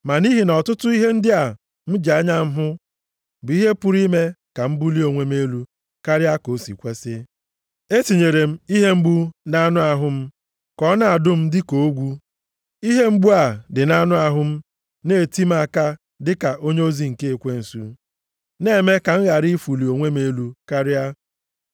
Ma nʼihi na ọtụtụ ihe ndị a m ji anya m hụ bụ ihe pụrụ ime ka m bulie onwe m elu karịa ka o si kwesi. E tinyere ihe mgbu nʼanụ ahụ m ka ọ na-adụ m dịka ogwu. Ihe mgbu a dị nʼanụ ahụ m na-eti m aka dịka onyeozi nke ekwensu, na-eme ka m ghara ịfụlị onwe m elu karịa.